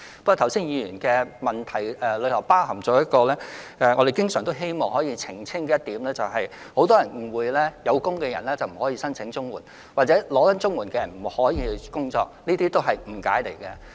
不過，議員剛才的補充質詢觸及我們經常希望澄清的事實，就是很多人誤會有工作的人不可以申請綜援，或正領取綜援的人不可以工作。